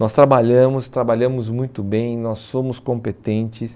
Nós trabalhamos, trabalhamos muito bem, nós somos competentes.